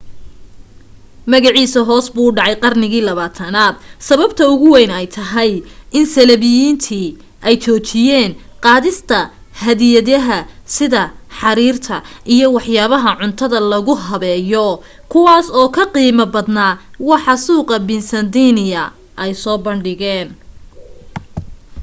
magaciisa hoos buu u dhacay qarnigii 20aad sababta ugu weyn ay tahay in saliibiyiintii ay joojiyeen qaadista hadiyadaha sida xariirta iyo waxyaabaha cuntada lagu habeeyo kuwaas oo ka qiimo badnaa waxa suuqaqa byzantine ay soo bandhigeen